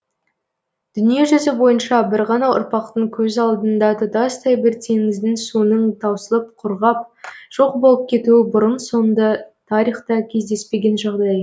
дүние жүзі бойынша бір ғана ұрпақтың көз алдыңда тұтастай бір теңіздің суының таусылып құрғап жоқ болып кетуі бұрын соңды тарихта кездеспеген жағдай